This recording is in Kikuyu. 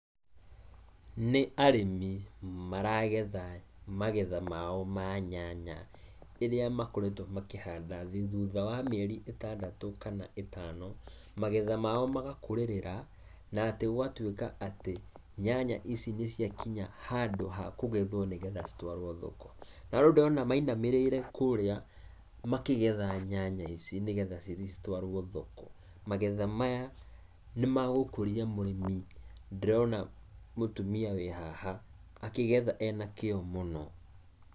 Nĩ arĩmi maragetha magetha mao ma nyanya ĩrĩa makoretwo makĩhanda thutha wa mĩeri ĩtandatũ kana ĩtano, magetha mao magakũrĩrĩra na atĩ gwatwĩka atĩ, nyanya ici nĩ cia kinya handũ ha kũgethwo nĩgetha citwarwo thoko. Na rĩu ndona mainamĩrĩire kũrĩa makĩgetha nyanya ici nigetha cithiĩ citwarwo thoko. Magetha maya, nĩ ma gũkũria mũrĩmi. Ndĩrona mũtumia wĩ haha akĩgetha ena kĩyo mũno.